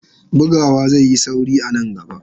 Bugawa zai yi sauri a nan gaba.